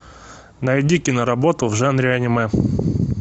найди киноработу в жанре аниме